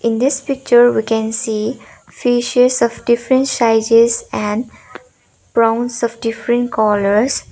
in this picture we can see fishes of different sizes and prawns of different colours.